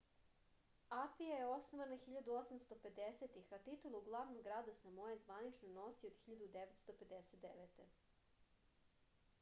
apija je osnovana 1850-ih a titulu glavnog grada samoe zvanično nosi od 1959